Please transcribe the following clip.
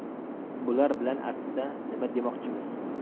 Bular bilan aslida nima demoqchimiz?